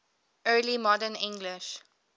early modern english